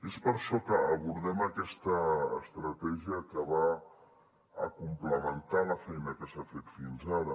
és per això que abordem aquesta estratègia que ve a complementar la feina que s’ha fet fins ara